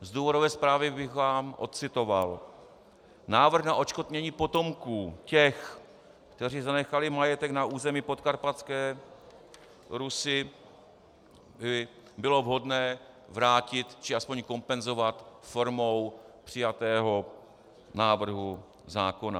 Z důvodové zprávy bych vám odcitoval: Návrh na odškodnění potomků těch, kteří zanechali majetek na území Podkarpatské Rusi, by bylo vhodné vrátit, či aspoň kompenzovat formou přijatého návrhu zákona.